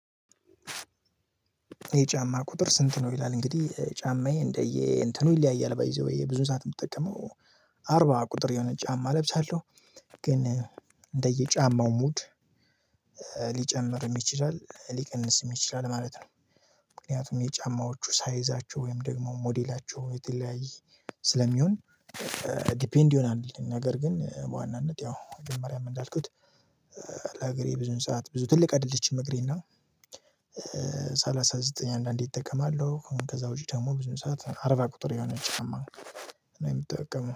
የጫማ ቁጥር ስንት ነው? ይላል እንግዲህ ጫማዬ እንደየ እንትኑ ይለያያል ባይ ዘ ዌይ ብዙ ሰዓት የምጠቀመው አርባ ቁጥር የሆነ ጫማ ለብሳለሁ ግን እንደየጫማው ሙድ ሊጨምርም ይችላል ሊቀንስም ይችላል ማለት ነው። ምክንያቱም የጫማዎቹ ሳይዛቸው ወይም ደግሞ ሞዴላቸው የተለያየ ስለሚሆን ዲፔንድ ይሆናል። ነገር ግን በዋናነት ያው መጀመሪያ ምን እንዳልኩት ለእገሬ ብዙም ሰዓት ብዙ ትልቅ አይደለችም እግሬና ሰላሳ ዘጠኝ አንዳንዴ እጠቀማለሁ ከዛ ውጪ ደግሞ ብዙ ሰዓት አርባ ቁጥር የሆነች ነው የምጠቀመው